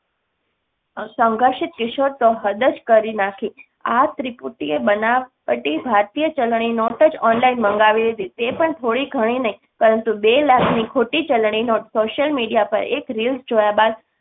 સંઘર્ષિત કિશોર તો હદ કરી નાખી. આ ત્રિપુટીએ બનાવટી ભારતીય ચલણી નોટો online મંગાવી તે પણ થોડીઘણી નહીં પરંતુ બે લાખ ની ખોટી ચલણી નોટ સોશિયલ મીડિયા પર એક રિયલ જોયા બાજ.